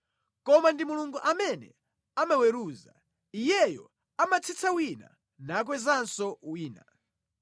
Koma ndi Mulungu amene amaweruza: Iyeyo amatsitsa wina, nakwezanso wina.